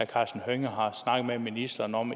karsten hønge har snakket med ministeren om